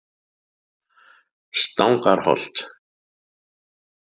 Stangarholti